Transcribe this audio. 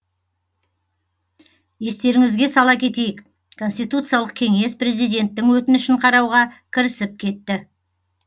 естеріңізге сала кетейік конституциялық кеңес президенттің өтінішін қарауға кірісіп кетті